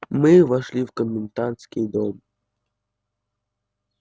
мы вошли в комендантский дом